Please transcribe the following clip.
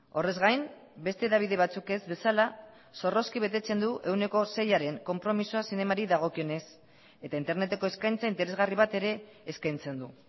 horrez gain beste hedabide batzuk ez bezala zorrozki betetzen du ehuneko seiaren konpromisoa zinemari dagokionez eta interneteko eskaintza interesgarri bat ere eskaintzen du